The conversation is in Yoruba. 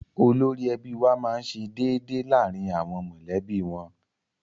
Olórí ẹbí wa máá ń ṣe déédéé láàrin àwọn mọ̀lẹ́bí wọn